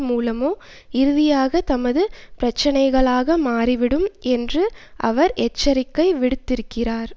மூலமோ இறுதியாக தமது பிரச்சனைகளாக மாறிவிடும் என்று அவர் எச்சரிக்கை விடுத்திருக்கிறார்